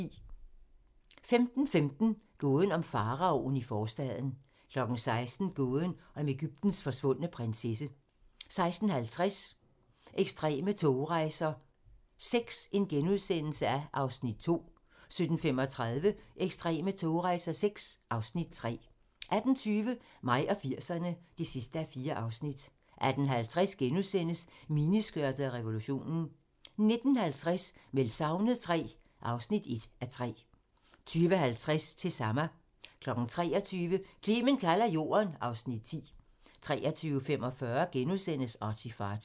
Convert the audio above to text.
15:15: Gåden om faraoen i forstaden 16:00: Gåden om Egyptens forsvundne prinsesse 16:50: Ekstreme togrejser VI (Afs. 2)* 17:35: Ekstreme togrejser VI (Afs. 3) 18:20: Mig og 80'erne (4:4) 18:50: Miniskørtet og revolutionen * 19:50: Meldt savnet III (1:3) 20:50: Til Sama 23:00: Clement kalder jorden (Afs. 10) 23:45: ArtyFarty *